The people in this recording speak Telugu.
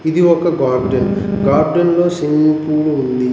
ఇది ఒక గార్డెన్ గార్డెన్లో స్విమ్మింగ్ పూల్ ఉంది.